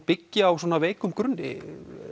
byggð á veikum grunni